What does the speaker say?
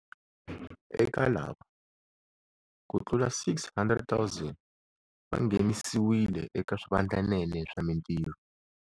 Eka lava, kutlula 600 000 va nghenisiwile eka swivandlanene swa mitirho.